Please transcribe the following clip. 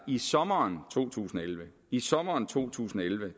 i sommeren to tusind og elleve i sommeren to tusind og elleve